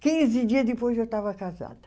Quinze dias depois eu estava casada.